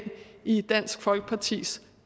i dansk folkepartis